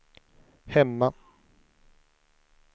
hemma